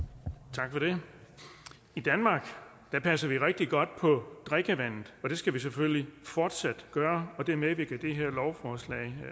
tak for det i danmark passer vi rigtig godt på drikkevandet og det skal vi selvfølgelig fortsat gøre og det medvirker det her lovforslag